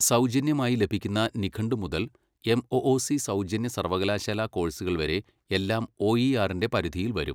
സൗജന്യമായി ലഭിക്കുന്ന നിഘണ്ടു മുതൽ എംഒഒസി സൗജന്യ സർവ്വകലാശാല കോഴ്സുകൾ വരെ എല്ലാം ഒഇആർ ന്റെ പരിധിയിൽ വരും.